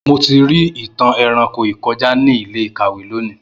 Mo ti ri itan eranko ikọja ni ile-ikawe loni.